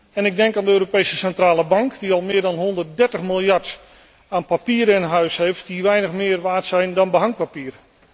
En ik denk aan de Europese Centrale Bank, die al meer dan 130 miljard aan papieren in huis heeft die weinig meer waard zijn dan behangpapier.